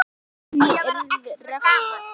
Henni yrði refsað.